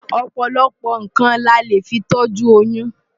Ọ̀pọ̀lọpọ̀ nǹkan la lè fi tọ́jú oyún.